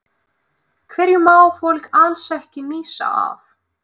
Hverju má fólk alls ekki missa af?